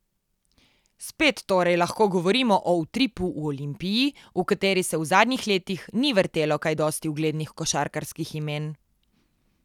Spet torej lahko govorimo o utripu v Olimpiji, v kateri se v zadnjih letih ni vrtelo kaj dosti uglednih košarkarskih imen.